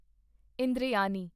Indrayani